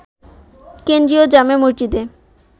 কেন্দ্রীয় জামে মসজিদে